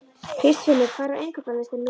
Kristfinnur, hvað er á innkaupalistanum mínum?